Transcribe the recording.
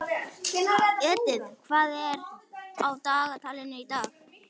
Edith, hvað er á dagatalinu í dag?